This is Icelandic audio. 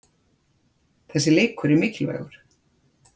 Þessi leikur er mikilvægur.